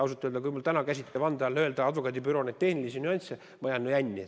Ausalt öelda, kui te mul täna käsite vande all nimetada neid advokaadibüroo tehnilisi nüansse, siis ma jään jänni.